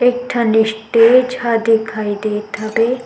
एक ठन स्टेज हा दिखाई देत हवे।